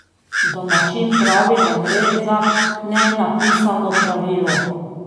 Domačin pravi, da gre za nenapisano pravilo.